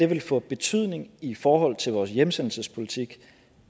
vil få betydning i forhold til vores hjemsendelsespolitik